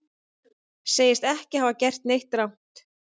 Segist ekki hafa gert neitt rangt